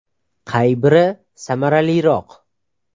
Qay biri samaraliroq?.